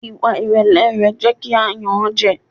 Ìwà ìrẹ̀lẹ̀ rẹ̀ jẹ́ kí a yàn án jẹ.